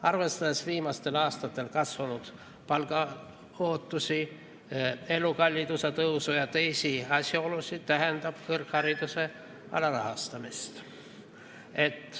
Arvestades viimastel aastatel kasvanud palgaootusi, elukalliduse tõusu ja teisi asjaolusid, tähendab see kõrghariduse alarahastamist.